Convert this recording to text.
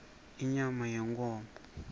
inyama yenkhomo